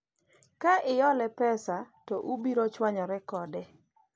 ka ihole pesa to ubiro chwanyore kode